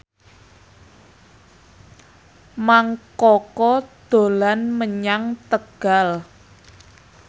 Mang Koko dolan menyang Tegal